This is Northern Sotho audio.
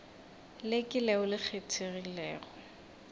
le ke leo le kgethegilego